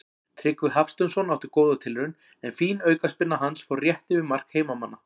Tryggvi Hafsteinsson átti góða tilraun er fín aukaspyrna hans fór rétt yfir mark heimamanna.